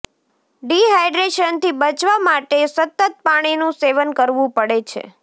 ડ્રિહાઈડ્રેશનથી બચવા માટે સતત પાણીનુ સેવન કરવુ પડે છે